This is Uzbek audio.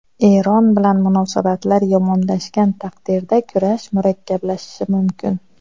Eron bilan munosabatlar yomonlashgan taqdirda kurash murakkablashishi mumkin.